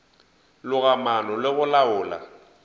loga maano le go laola